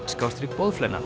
skástrik